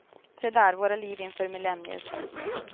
Se där våra liv inför millennieslutet.